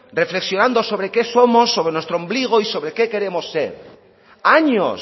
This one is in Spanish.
reflexionando sobre qué somos sobre nuestro ombligo y sobre qué queremos ser años